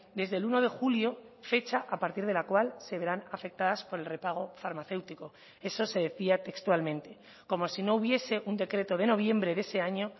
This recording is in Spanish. desde el uno de julio fecha a partir de la cual se verán afectadas por el repago farmacéutico eso se decía textualmente como si no hubiese un decreto de noviembre de ese año